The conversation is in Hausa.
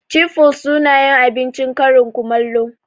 Cif flus sunayin abincin karin kumallo